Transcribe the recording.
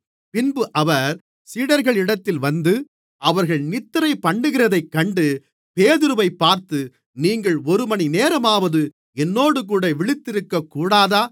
பின்பு அவர் சீடர்களிடத்தில் வந்து அவர்கள் நித்திரைபண்ணுகிறதைக் கண்டு பேதுருவைப் பார்த்து நீங்கள் ஒருமணி நேரமாவது என்னோடுகூட விழித்திருக்கக்கூடாதா